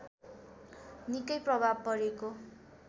निकै प्रभाव परेको